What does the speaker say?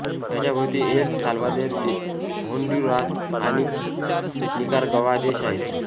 याच्या भोवती El Salvador Honduras आणि निकाराग्वा देश आहेत